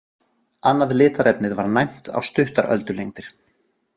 Annað litarefnið var næmt á stuttar öldulengdar.